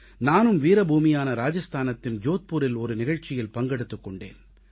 நானும் வீரபூமியான ராஜஸ்தானின் ஜோத்பூரில் ஒரு நிகழ்ச்சியில் பங்கெடுத்துக் கொண்டேன்